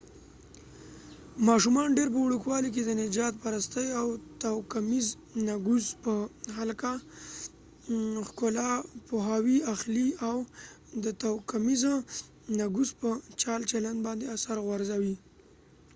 ماشومان ډیر په وړوکوالي کی د نژاد پرستۍ اور توکمیز نګوس په هکله پوهاوی اخلي اور دا توکمیز نګوس په چال چلند باندی اثر غورځوي